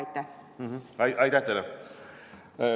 Aitäh teile!